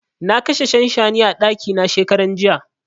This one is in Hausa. Na kashe shanshani a ɗaki na shekaran jiya.